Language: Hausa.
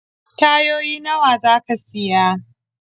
Tayoyi nawa za ka siya?